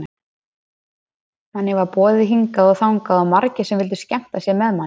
Manni var boðið hingað og þangað og margir sem vildu skemmta sér með manni.